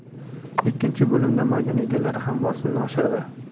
Ikkinchi bo‘limda maydon egalari ham bosimni oshirdi.